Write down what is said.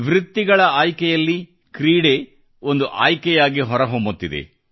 ವೃತ್ತಿಗಳ ಆಯ್ಕೆಯಲ್ಲಿ ಕ್ರೀಡೆ ಒಂದು ಆಯ್ಕೆಯಾಗಿ ಹೊರಹೊಮ್ಮತ್ತಿದೆ